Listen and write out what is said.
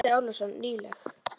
Andri Ólafsson: Nýleg?